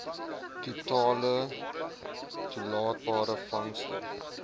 totale toelaatbare vangste